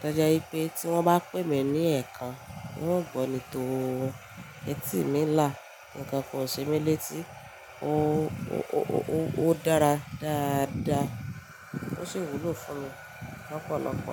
toje wipé tí wọ́n bá pè mí ní ẹ̀ekan n ó gbọ́ ni tóo etí mi là ńkankan ò ṣe mí létí ó ó ó dára dáadáa ó sì wúlò fún mi lọ́pọ̀lọ́pọ̀